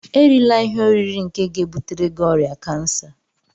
Erila ihe oriri nke ga-ebutere gị ọrịa kansa